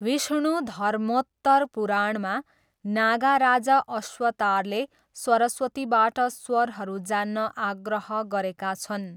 विष्णुधर्मोत्तर पुराणमा नागा राजा अश्वतारले सरस्वतीबाट स्वरहरू जान्न आग्रह गरेका छन्।